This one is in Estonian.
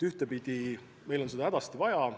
Ühtepidi meil on seda hädasti vaja.